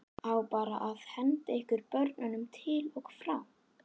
Á bara að henda ykkur börnunum til og frá?